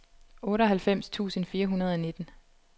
otteoghalvfems tusind fire hundrede og nitten